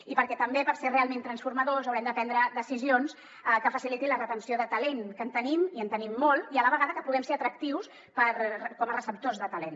i també per ser realment transformadors haurem de prendre decisions que facilitin la retenció de talent que en tenim i en tenim molt i a la vegada que puguem ser atractius com a receptors de talent